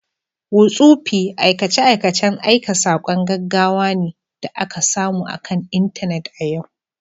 Whotsupi aikace-aikacen aika saƙon gaggawa ne da ake samu akan Intanet a yau